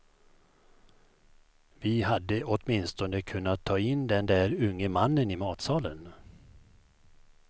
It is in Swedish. Vi hade åtminstone kunnat ta in den där unge mannen i matsalen.